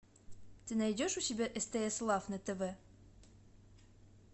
ты найдешь у себя стс лав на тв